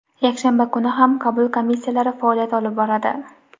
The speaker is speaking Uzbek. Yakshanba kuni ham qabul komissiyalari faoliyat olib boradi.